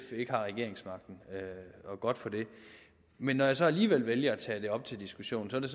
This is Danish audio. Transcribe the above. ikke har regeringsmagten og godt for det men når jeg så alligevel vælger at tage det op til diskussion er det